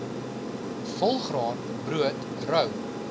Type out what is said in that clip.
volgraan brood rou